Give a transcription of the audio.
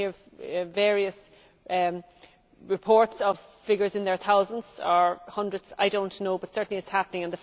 We hear various reports of figures, in their thousands or hundreds, I do not know, but certainly it is happening.